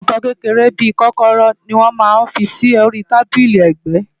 Àwọn nǹkan kékeré bí i kọ́kọ́rọ́ ni wọ́n máa ń fi sí orí tábílì ẹ̀gbẹ́